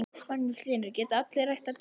Magnús Hlynur: Geta allir ræktað dúfur?